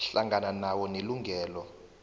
hlangana nawo nelungelo